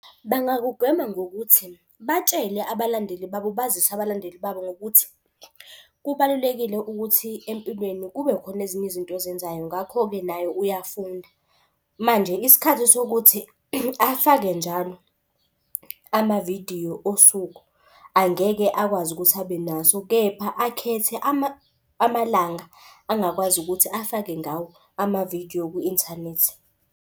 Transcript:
Bangakugwema ngokuthi batshele abalandeli babo. Bazise abalandeli babo ngokuthi kubalulekile ukuthi empilweni kube khona ezinye izinto ozenzayo. Ngakho-ke nayo uyafunda, manje isikhathi sokuthi afake njalo, amavidiyo osuku angeke akwazi ukuthi abe naso. Kepha akhethe amalanga angakwazi ukuthi afake ngawo amavidiyo kwi-inthanethi.